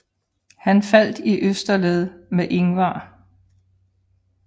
Han faldt i østerled med Ingvar